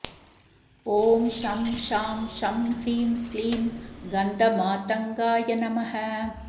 ॐ शं शां षं ह्रीं क्लीं गन्धमातङ्गाय नमः